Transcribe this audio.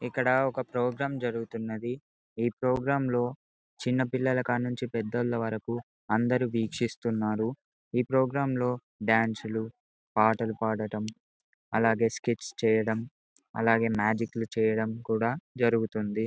ఇక్కడ ఒక ప్రొగ్రము జరుగుతున్నది ఈ ప్రోగ్రాంలో చిన్నపిల్లలు కాడుంచి పెద్దవాళ్ల వరకు అందరూ వీక్షితున్నారు ఈ ప్రోగ్రాం లో డాన్స్ లు పాటలు పాడడం అలాగే స్క్రిట్ చేయడం అలాగే మ్యాజిక్ లు చేయడం కూడా జరుగుతుంది.